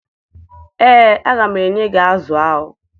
Ee, aga m enye gị azụ ahụ